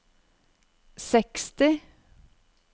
seksti